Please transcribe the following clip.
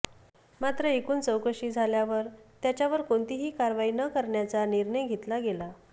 मात्र एकूण चौकशी झाल्यावर त्याच्यावर कोणतीही कारवाई न करण्याचा निर्णय घेतला गेला